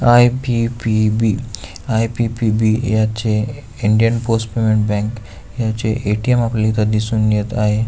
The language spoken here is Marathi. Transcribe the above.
आय.पी.पी.बी. आय.पी.पी.बी. याचे इंडियन पोस्ट पेमेंट बँक याचे ए.टी.एम. आपल्याला इथ दिसून येत आहे.